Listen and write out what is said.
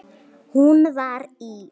Hún var í